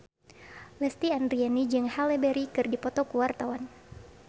Lesti Andryani jeung Halle Berry keur dipoto ku wartawan